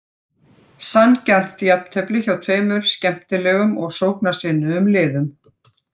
Sanngjarnt jafntefli hjá tveimur skemmtilegum og sóknarsinnuðum liðum.